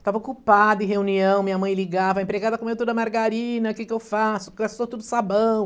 Estava ocupada em reunião, minha mãe ligava, a empregada comeu toda a margarina, o que que eu faço, gastou todo o sabão.